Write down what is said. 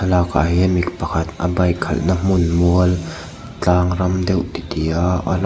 ah hian mipa pakhat a bike khalh na hmun mual tlang ram deuh tih ti a ala--